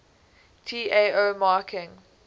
tao marking